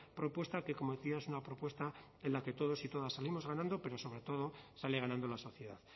propuesta que como decía es una propuesta en la que todos y todas salimos ganando pero sobre todo sale ganando la sociedad